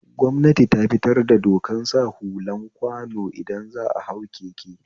Gwamnati tafitar da dokan sa hulan kwano idan za'a hau keke